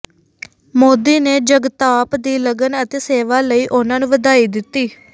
ਮੋਦੀ ਨੇ ਜਗਤਾਪ ਦੀ ਲਗਨ ਅਤੇ ਸੇਵਾ ਲਈ ਉਹਨਾਂ ਨੂੰ ਵਧਾਈ ਦਿੱਤੀ